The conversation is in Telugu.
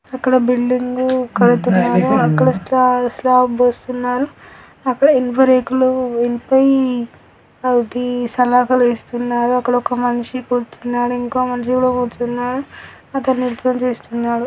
అక్కడ బిల్డింగ్ కడుతున్నారు. అక్కడ స్లా--స్లాబ్ పోస్తున్నారు. అక్కడ ఇనుప రేకులు ఇనుపై అది సలాకలు ఇస్తున్నారు. అక్కడ ఒక మనిషి కూర్చొని ఉన్నాడు. ఇంకో మనిషి కూడా కూర్చున్నాడు. అతను నిలుచొని చేస్తున్నాడు.